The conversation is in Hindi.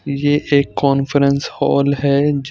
ये एक कॉन्फ्रेंस हॉल है जो--